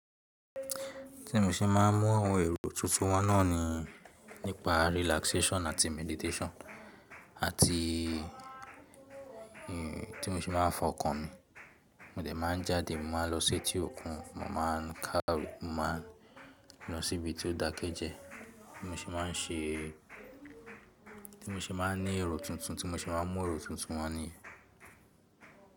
Tí mo ṣe máa ń mú àwọn èrò tuntun wá náà ni nípa relaxation àti meditation. Àti tí mo ṣe máa ń fa ọkàn mi, mo dẹ̀ máa ń jáde, màá lọ sí etí òkun, mo máa ń ká, mo máa ń lọ síbi tí ó dákẹ́ jẹ. Mo ṣe máa ń ṣe, tí mo ṣe máa ń ní èrò tuntun, tí mo ṣe máa ń mú èrò tuntun wá ni.